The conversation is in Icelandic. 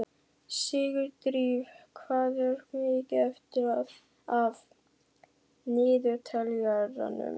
Sigurdríf, hvað er mikið eftir af niðurteljaranum?